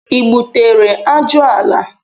I gbutere ajụala